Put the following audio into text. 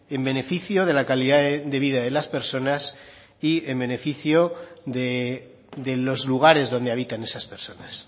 en beneficio de la calidad de vida de las personas y en beneficio de los lugares donde habiten esas personas